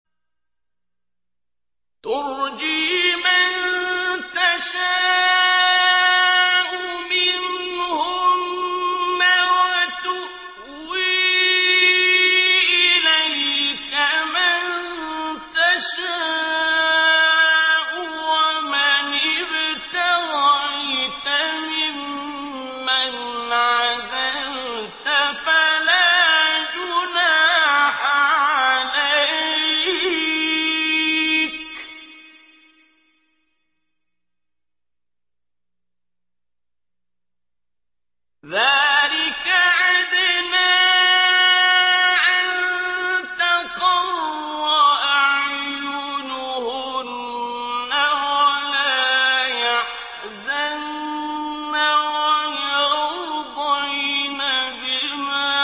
۞ تُرْجِي مَن تَشَاءُ مِنْهُنَّ وَتُؤْوِي إِلَيْكَ مَن تَشَاءُ ۖ وَمَنِ ابْتَغَيْتَ مِمَّنْ عَزَلْتَ فَلَا جُنَاحَ عَلَيْكَ ۚ ذَٰلِكَ أَدْنَىٰ أَن تَقَرَّ أَعْيُنُهُنَّ وَلَا يَحْزَنَّ وَيَرْضَيْنَ بِمَا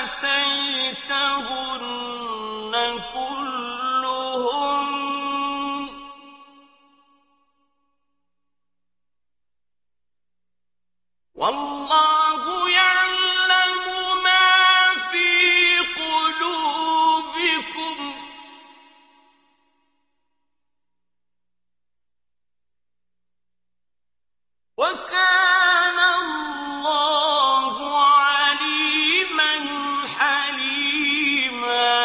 آتَيْتَهُنَّ كُلُّهُنَّ ۚ وَاللَّهُ يَعْلَمُ مَا فِي قُلُوبِكُمْ ۚ وَكَانَ اللَّهُ عَلِيمًا حَلِيمًا